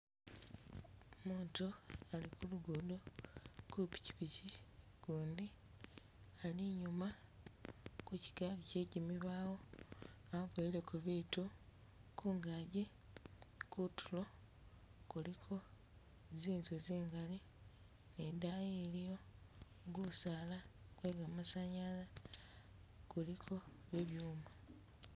Umutu ali kulugudo kupikyipikyi, ugundi ali inyuma ku kyigali kye gimibawo aboyeleko bitu, kungaji kutulo kuliko zinzu zingali ni idayi iliyo gusaala gwe ga masanyalaze kuliko bibyuma